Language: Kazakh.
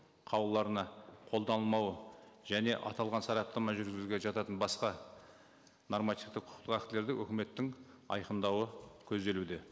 қаулыларына қолданылмауы және аталған сараптама жүргізуге жататын басқа нормативті құқықтық актілерді үкіметтің айқындауы көзделуде